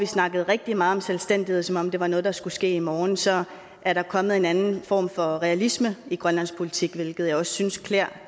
snakkede rigtig meget om selvstændighed som om det var noget der skulle ske i morgen så er der kommet en andet form for realisme i grønlandsk politik hvilket jeg også synes klæder